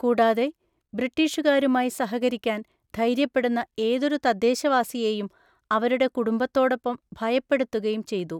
കൂടാതെ, ബ്രിട്ടീഷുകാരുമായി സഹകരിക്കാൻ ധൈര്യപ്പെടുന്ന ഏതൊരു തദ്ദേശവാസിയെയും അവരുടെ കുടുംബത്തോടൊപ്പം ഭയപ്പെടുത്തുകയും ചെയ്തു.